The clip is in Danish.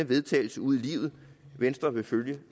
vedtagelse ud i livet venstre vil følge